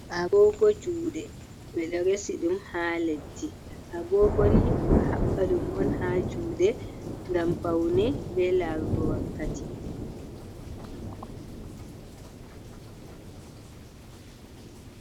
Agogo juuɗe. Ɓe ɗo resi ɗum haa leddi. Agogo ni, ɓe ɗo haɓɓa ɗum on haa juuɗe ngam paune bee lagrugo wakkati.